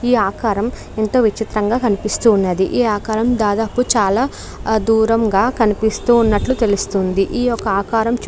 ఈ ఆకారం ఎంతో విచిత్రం గా కనిపిస్తూ ఉన్నది ఈ ఆకారం దాదాపు చాలా దూరంగా కనిపిస్తూ ఉన్నట్లు తెలుస్తుంది ఈ యొక్క ఆకారం.